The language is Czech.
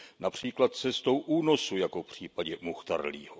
Například cestou únosu jako v případě Muchtarlího.